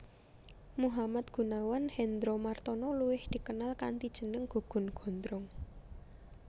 Muhammad Gunawan Hendromartono luwih dikenal kanthi jeneng Gugun Gondrong